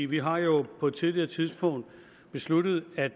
vi har jo på et tidligere tidspunkt besluttet at